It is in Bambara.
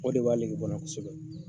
O de b'a lege bɔ n'a kosɛbɛ